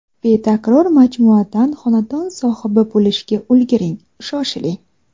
Betakror majmuadan xonadon sohibi bo‘lishga ulguring Shoshiling!